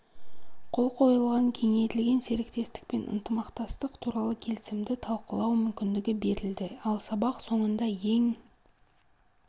қол қойылған кеңейтілген серіктестік пен ынтымақтастық туралы келісімді талқылау мүмкіндігі берілді ал сабақ соңында ең